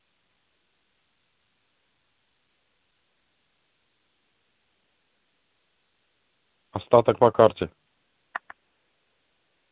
остаток по карте